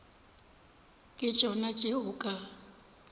ke tšona tše o ka